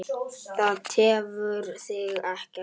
Það tefur þig ekkert.